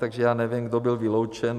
Takže já nevím, kdo byl vyloučen.